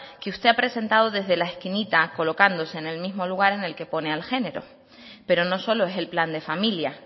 que usted ha presentado desde la esquinita colocándose en el mismo lugar en el que pone al género pero no solo es el plan de familia